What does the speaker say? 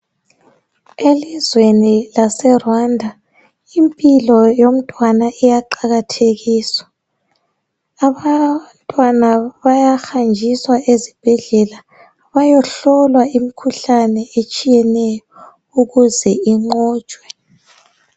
Elizweni laseRwanda impilo yomntwana iyaqakathekiswa. Abantwana bayahanjiswa ezibhedlela bayohlolwa imikhuhlane etshiyeneyo ukuze inqotshwe.